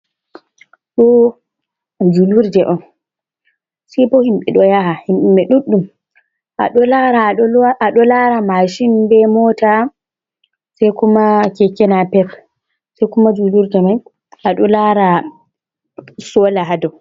Ɗo juulrde on sebo himɓɓe ɓe ɗo yaha himɓɓe ɗuɗɗum a ɗo lara mashin be mota sai kuma keke napep sai kuma julurde mai a ɗo lara sole ha dou.